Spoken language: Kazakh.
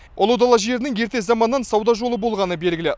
ұлы дала жерінің ерте заманнан сауда жолы болғаны белгілі